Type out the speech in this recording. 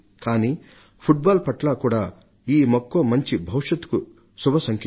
కానీ ఫుట్బాల్ పట్ల కూడా ఈ మక్కువ మంచి భవిష్యత్తుకు శుభ సంకేతం